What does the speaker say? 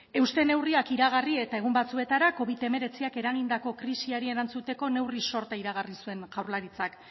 euste neurriak iragarri eta egun batzuetara covid hemeretziak eragindako krisiari erantzuteko neurri sorta iragarri zuen jaurlaritzak